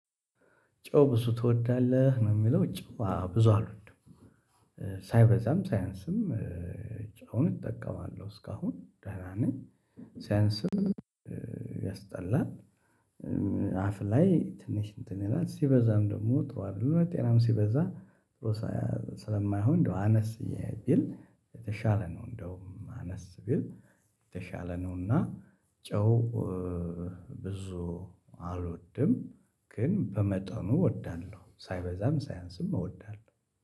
ጨው ብዙ ትወዳለህ ነው የሚለው ጨው ብዙ አልወድም ሳይበዛም ሳያንስም ጨውን እጠቀማለሁ እስካሁን ደህና ነኝ ሲያንስም ያስጠላል። አፍ ላይ ትንሽ እንትን ይላል ሲበዛም ደግሞ ጥሩ አይደለም። ጤናም ሲበዛ ጥሩ ስለማይሆን እንደው አነስ ቢል የተሻለ ነው። እንደውም አነስ ቢል የተሻለ ነውና። ጨው ብዙ አልወድም ግን በመጠኑ እወዳለሁ ሳይበዛም ሳያንስም እወዳለሁ።